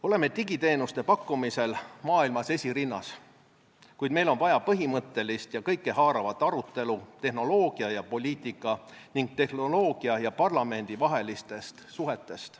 Oleme digiteenuste pakkumisel maailmas esirinnas, kuid meil on vaja põhimõttelist ja kõikehaaravat arutelu tehnoloogia ja poliitika ning tehnoloogia ja parlamendi vaheliste suhete teemal.